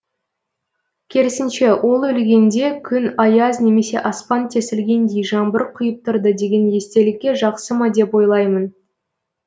керісінше ол өлгенде күн аяз немесе аспан тесілгендей жаңбыр құйып тұрды деген естелікке жақсы ма деп ойлаймын